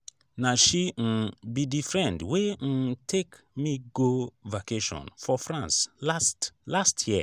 na she um be the friend wey um take me go vacation for france last last year